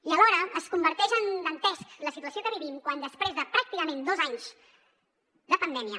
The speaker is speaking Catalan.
i alhora es converteix en dantesca la situació que vivim quan després de pràcticament dos anys de pandèmia